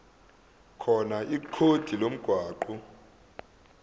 khona ikhodi lomgwaqo